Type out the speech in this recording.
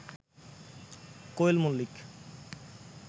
Koel Mallick